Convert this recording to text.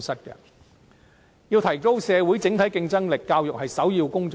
要提高社會整體競爭力，教育是首要工作。